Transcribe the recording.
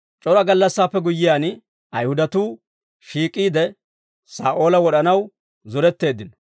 C'ora gallassaappe guyyiyaan, Ayihudatuu shiik'iide, Saa'oola wod'anaw zoretteeddino.